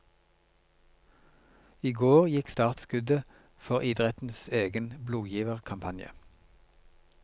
I går gikk startskuddet for idrettens egen blodgiverkampanje.